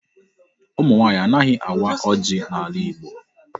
Ụmụ nwaanyị anaghị awa ọjị n'ala Igbo.